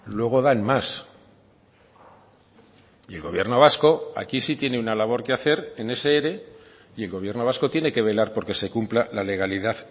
luego dan más y el gobierno vasco aquí sí tiene una labor que hacer en ese ere y el gobierno vasco tiene que velar porque se cumpla la legalidad